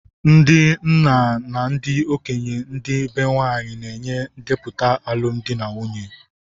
Ndị nna na ndị okenye ndi be nwanyị na-enye ndepụta alụmdi na nwunye.